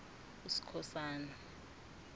uskhosana